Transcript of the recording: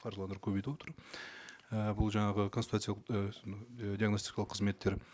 қаржыландыру көбейтіп отыр і бұл жаңағы консультациялық ііі диагностикалық қызметтер